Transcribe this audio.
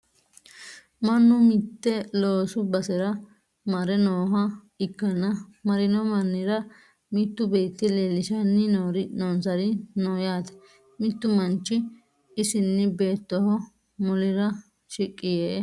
Mannu mitte loosu basera mare nooha ikkanna marino mannira mittu beetti leellishanni noonsari no yaate? Mittu manchi isinni bettoho mulira shiqqi yee la"anni no.